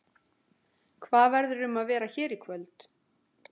Hvað verður um að vera hér í kvöld?